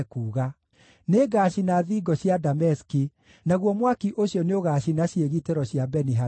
“Nĩngacina thingo cia Dameski; naguo mwaki ũcio nĩũgaacina ciĩgitĩro cia Beni-Hadadi.”